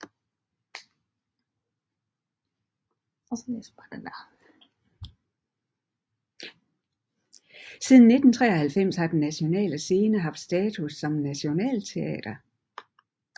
Siden 1993 har Den Nationale Scene haft status som nationalt teater